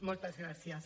moltes gràcies